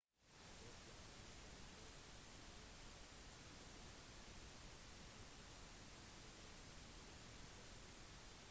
det kan være en fordel å heller benytte en agent som ofte bestiller lignende reiser